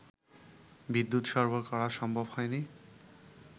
বিদ্যুৎ সরবরাহ করা সম্ভব হয়নি